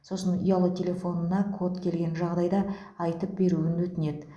сосын ұялы телефонына код келген жағдайда айтып беруін өтінеді